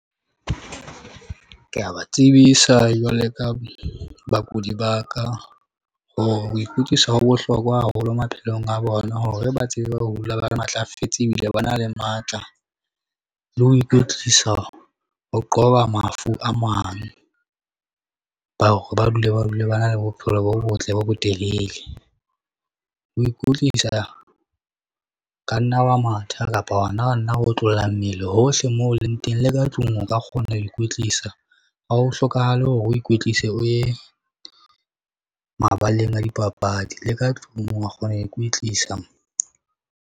Ke a ba tsebisa jwaloka bakudi ba ka hore ho ikwetlisa ho bohlokwa haholo maphelong a bona hore ba tsebe ho dula ba matlafetse ebile ba na le matla. Le ho ikwetlisa ho qoba mafu a mang ba hore ba dule ba dule ba na le bophelo bo botle bo botelele. Ho ikwetlisa, ka nna wa matha kapa hona nna otlolla mmele hohle mo leng teng le ka tlung. O ka kgona ho ikwetlisa ha ho hlokahale hore o ikwetlise, o ye mabaleng a dipapadi le ka tlung wa kgona ho ikwetlisa.